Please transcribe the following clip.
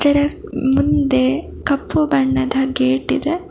ಇದರ ಮುಂದೆ ಕಪ್ಪು ಬಣ್ಣದ ಗೇಟ್ ಇದೆ.